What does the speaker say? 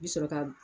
I bi sɔrɔ ka